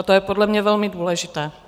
A to je podle mě velmi důležité.